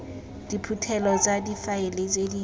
diphuthelo tsa difaele tse di